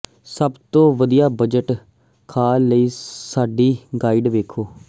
ਸਭ ਤੋਂ ਵਧੀਆ ਬਜਟ ਖਲਾਅ ਲਈ ਸਾਡੀ ਗਾਈਡ ਵੇਖੋ